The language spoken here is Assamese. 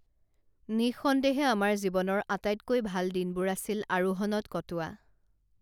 নিঃসন্দেহে আমাৰ জীৱনৰ আটাইতকৈ ভাল দিনবোৰ আছিল আৰোহণত কটোৱা